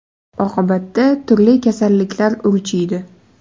Oqibatda turli kasalliklar urchiydi.